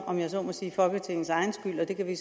om jeg så må sige folketingets egen skyld og det kan vi